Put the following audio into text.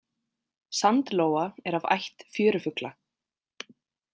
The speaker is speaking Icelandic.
Sandlóa er af ætt fjörufugla.